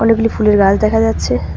অনেকগুলি ফুলের গাছ দেখা যাচ্ছে।